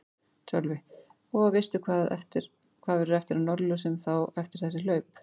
Sölvi: Og veistu hvað verður eftir af Norðurljósum þá eftir þessi kaup?